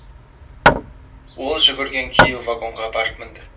ол жүгірген күйі вагонға барып мінді